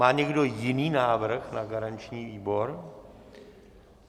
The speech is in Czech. Má někdo jiný návrh na garanční výbor?